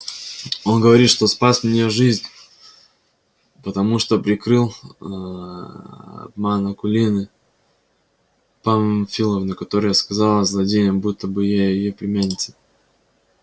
он говорит что спас мне жизнь потому что прикрыл ээ обман акулины памфиловны которая сказала злодеям будто бы я её племянница